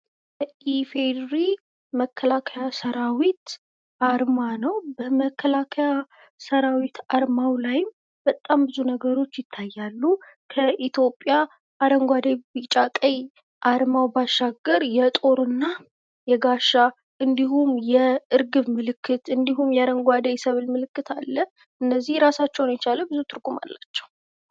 ኢፌዲሪ መከላከያ ሰራዊት ዓርማ ነው። በመከላከያ ሰራዊት አርማው ላይ በጣም ብዙ ነገሮች ይታያሉ ከኢትዮጵያ አረንጓዴ ቢጫ ቀይ አርምማው ባሻገር የጦርና የጋሻ እንዲሁም የእርግብ ምልክት እንዲሁም የአረንጓዴ የስብል ምልክት አለ እነዚህ ራሳቸውን የቻለ ብዙ ትርጉማ አላቸው።